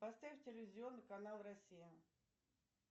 поставь телевизионный канал россия